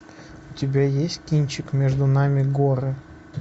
у тебя есть кинчик между нами горы